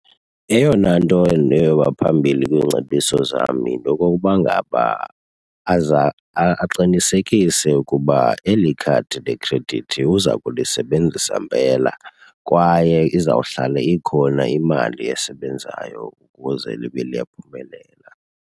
Eyona nto and eyoba phambili kwiingcebiso zam yinto yokokuba ngaba aza aqinisekise ukuba eli khadi lekhredithi uza kulisebenzisa mpela kwaye izawuhlale ikhona imali esebenzayo ukuze libe liyaphumelela.